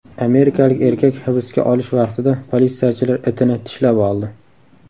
Amerikalik erkak hibsga olish vaqtida politsiyachilar itini tishlab oldi.